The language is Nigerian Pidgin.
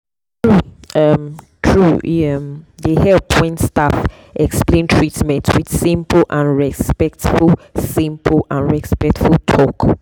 true um true e um dey help when staff explain treatment with simple and respectful simple and respectful talk.